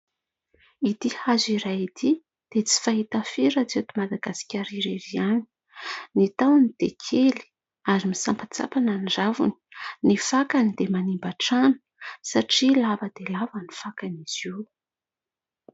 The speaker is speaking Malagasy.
Ity hazo iray ity dia tsy fahita firy raha tsy eto Madagasikara irery ihany, ny tahony dia kely ary misampatsampana ny raviny, ny fakany dia manimba trano satria lava dia lava ny fakan'izy io.